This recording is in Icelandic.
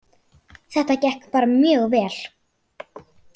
Þetta gekk bara mjög vel